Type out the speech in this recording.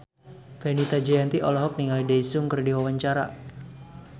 Fenita Jayanti olohok ningali Daesung keur diwawancara